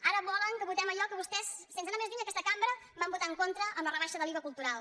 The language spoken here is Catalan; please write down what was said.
ara volen que votem allò que vostès sense anar més lluny a aquesta cambra van votar en contra en la rebaixa de l’iva cultural